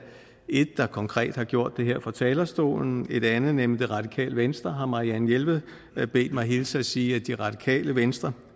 et der konkret har gjort det her fra talerstolen et andet nemlig det radikale venstre fra hvem marianne jelved har bedt mig hilse og sige at det radikale venstre